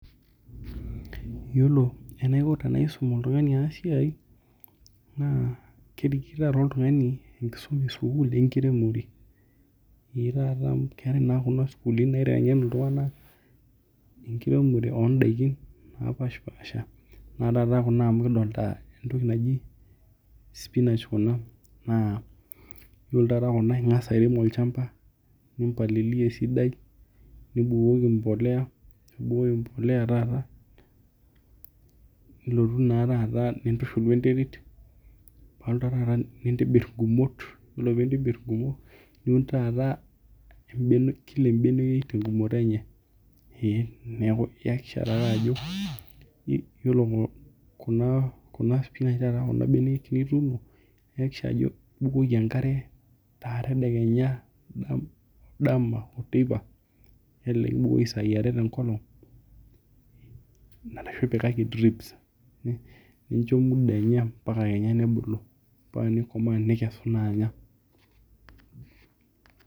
Iyiolo eninko tenaisum oltung'ani ena siai naa kerik taa oltung'ani sukul enkisuma enkiremore neeku ninye nena sukulini naitengen iltung'ana enkiremore oo daikin napasha pasha enaa kuna amu kidolita entoki naji spinach kuna naa iyolo taata kuna ingas taa aun toolchamba nimpalilia esidai nibukoki emboleya taata nilotu taa tata nintushul wee nterit alo taa tata nintibir igumot ore pee intibir igumot niun tataa kila ebeneyoi te gumoto enye. Neeku itakikisha taata ajo ore benek nituuno niyakikisha ajo ibukoki enkare tedekenya dama oo teipa nelelek ibukoki sai are tenkolong arashu ipikaki drips nincho muda enye paka kenya nibuku paa nikesu naa anya.